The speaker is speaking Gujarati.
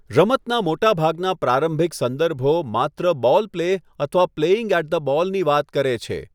રમતના મોટાભાગના પ્રારંભિક સંદર્ભો માત્ર 'બૉલ પ્લે' અથવા 'પ્લેઇંગ એટ ધ બૉલ' ની વાત કરે છે.